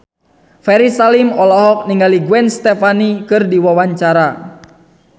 Ferry Salim olohok ningali Gwen Stefani keur diwawancara